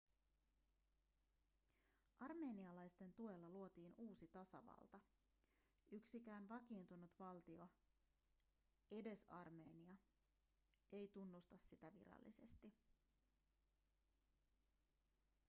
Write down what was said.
armenialaisten tuella luotiin uusi tasavalta yksikään vakiintunut valtio edes armenia ei tunnusta sitä virallisesti